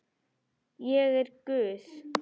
Ég er guð.